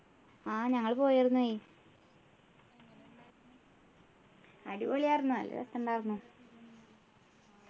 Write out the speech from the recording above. ആഹ് ഞങ്ങള് പോയാരുന്നു യ് അടിപൊളി ആർന്നു നല്ല രസം ണ്ടാർന്നു